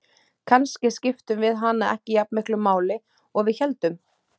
Kannski skiptum við hana ekki jafn miklu máli og við héldum.